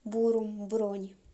бурум бронь